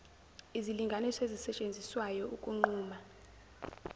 izilinganiso ezisetshenziswayo ukunquma